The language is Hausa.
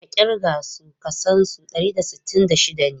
Ka kirga su ka san su dari da sittin da shida ne?